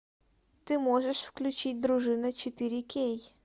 ты можешь включить дружина четыре кей